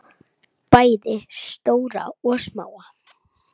Bæði stóra og smáa.